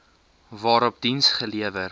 waarop diens gelewer